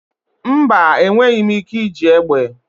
Mba, enweghị m ike iji egbe.